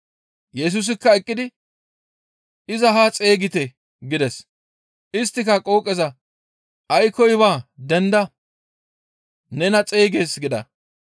Yesusikka eqqidi, «Iza haa xeygite» gides. Isttika qooqeza, «Aykkoy baa denda nena xeygees» gida.